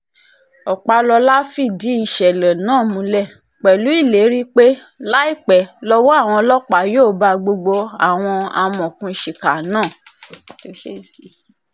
ọpàlọ́la fìdí ìṣẹ̀lẹ̀ náà múlẹ̀ pẹ̀lú ìlérí pé láìpẹ́ lọ́wọ́ àwọn ọlọ́pàá yóò bá gbogbo àwọn amọ̀òkùnsíkà náà